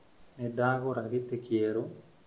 Nĩ ndagũra gĩtĩ kĩerũ